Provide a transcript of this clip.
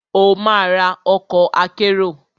Ó ma ra ọkọ̀ akérò.